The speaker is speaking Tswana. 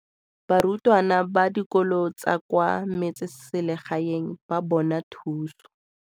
Barutwana ba dikolo tsa kwa metseselegaeng ba bona thuso.